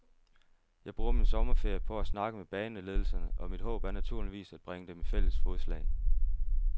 Jeg bruger min sommerferie på at snakke med baneledelserne, og mit håb er naturligvis at bringe dem i fælles fodslag.